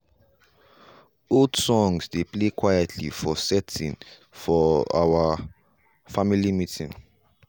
old songs dey play quietly for setting for our family meeting.